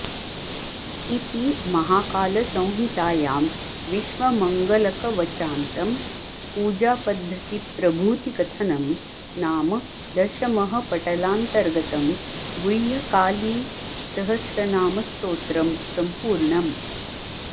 इति महाकालसंहितायां विश्वमङ्गलकवचान्तं पूजापद्धतिप्रभूतिकथनं नाम दशमः पटलान्तर्गतं गुह्यकालिसहस्रनामस्तोत्रं सम्पूर्णम्